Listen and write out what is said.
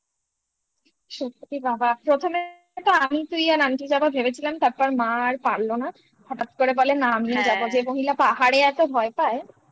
সত্যি বাবা প্রথমে তো আমি তুই আর aunty যাবো ভেবেছিলাম তারপর মা আর পারলো না হঠাৎ করে বলে না আমিও যাবো যে মহিলা পাহাড়ে এত ভয় পায়